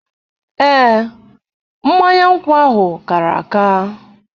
Ee, mmanya nkwụ ahụ kàrà àkà.